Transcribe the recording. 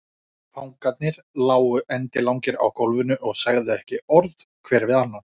Fangarnir lágu endilangir á gólfinu og sögðu ekki orð hver við annan.